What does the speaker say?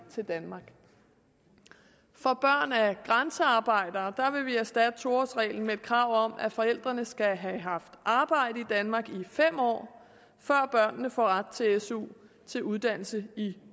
danmark for børn af grænsearbejdere vil vi erstatte to årsreglen med et krav om at forældrene skal have haft arbejde i danmark i fem år før børnene får ret til su til uddannelse i